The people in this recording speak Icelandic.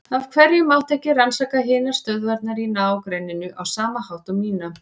Af hverju mátti ekki rannsaka hinar stöðvarnar í ná- grenninu á sama hátt og mína?